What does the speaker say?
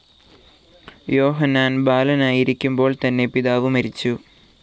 യോഹന്നാൻ ബാലനായിരിക്കുമ്പോൾ തന്നെ പിതാവ് മരിച്ചു.